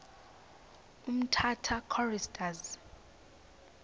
ne umtata choristers